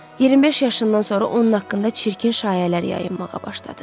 25 yaşından sonra onun haqqında çirkin şayiələr yayılmağa başladı.